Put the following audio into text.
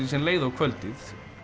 leið á kvöldið